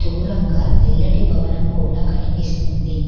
దూరంగా తెల్లటి భవనం కూడా కనిపిస్తుంది.